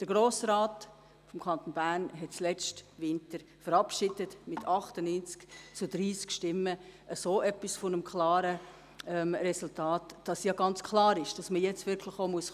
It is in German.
Der Grosse Rat des Kantons Bern hat es letzten Winter mit 98 zu 30 Stimmen verabschiedet, mit einem dermassen klaren Resultat, sodass ganz klar ist, dass man jetzt wirklich kommen muss.